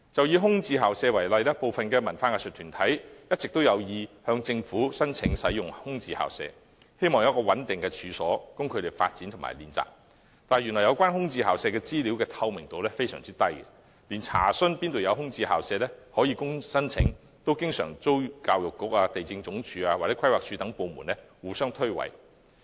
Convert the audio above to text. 以空置校舍為例，有文化藝術團體一直有意向政府申請使用空置校舍，希望有一個可供發展和練習的穩定處所，但有關空置校舍資料極不透明，連查詢有何空置校舍可供申請，教育局、地政總署或規劃署等部門也經常互相推諉。